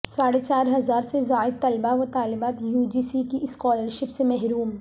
ساڑھے چار ہزار سے زائد طلبہ وطالبات یوجی سی کی اسکالرشپ سے محروم